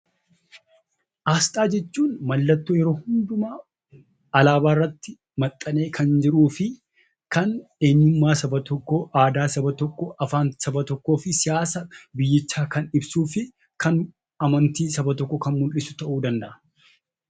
Asxaa jechuun mallattoo yeroo hundumaa alaabaa irratti maxxanee kan jiruu fi kan eenyummaa saba tokkoo , aadaa saba tokkoo , afaan saba tokkoo fi siyaasa biyyichaa kan ibsuu fi kan amantii saba tokkoo kan mul'isu ta'uu danda'a.